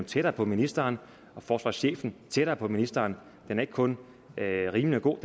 tættere på ministeren og forsvarschefen tættere på ministeren ikke kun er rimelig og god